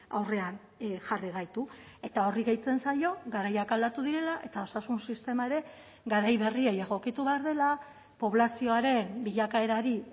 aurrean jarri gaitu eta horri gehitzen zaio garaiak aldatu direla eta osasun sistema ere garai berriei egokitu behar dela poblazioaren bilakaerari